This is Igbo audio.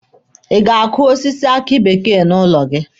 Ị ga-akụ osisi aki bekee n'ụlọ gị?